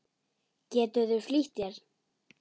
Geturðu flýtt þér.